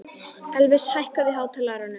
Elvis, hækkaðu í hátalaranum.